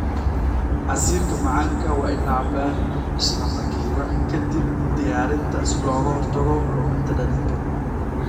Casiirka macaanka waa in la cabbaa isla markiiba ka dib diyaarinta si looga hortago luminta dhadhanka.